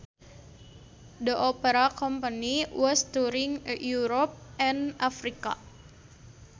The opera company was touring Europe and Africa